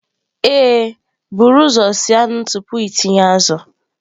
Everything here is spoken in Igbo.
Ee, buru ụzọ sie anụ tupu ịtinye azụ.